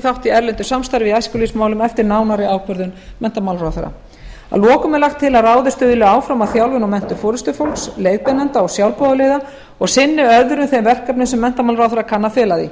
þátt í erlendu samstarfi í æskulýðsmálum eftir nánari ákvörðun menntamálaráðherra að lokum er lagt til að ráðið stuðli áfram að þjálfun og menntun forustufólks leiðbeinenda og sjálfboðaliða og sinni öðrum þeim verkefnum sem menntamálaráðherra kann að fela því